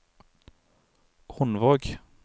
Hundvåg